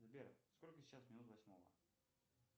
сбер сколько сейчас минут восьмого